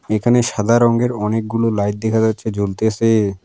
এখানে সাদা রঙ্গের অনেকগুলো লাইট দেখা যাচ্ছে জ্বলতেসে।